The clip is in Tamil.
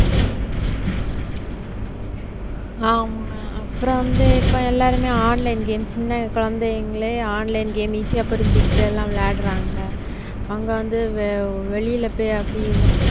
ஆமா அப்புறம் வந்து இப்ப எல்லாருமே online games சின்ன குழந்தைங்களே online game easy ஆ புரிஞ்சுகிட்டு எல்லாம் விளையாடுறாங்க அங்க வந்து வெளியில போய் அப்படி